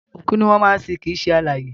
Òkú ni wọ́n máa ń sin kìí ṣe alààyè